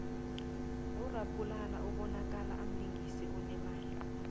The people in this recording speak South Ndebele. urapulane umbonakala amlingisi onemali